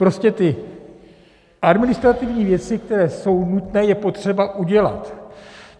Prostě ty administrativní věci, které jsou nutné, je potřeba udělat.